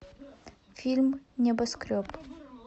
фильм небоскреб